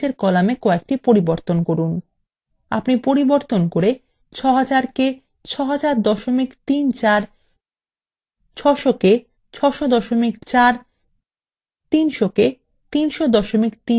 আপনি পরিবর্তন করে :